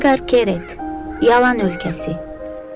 Edqar Kere Yalan Ölkəsi.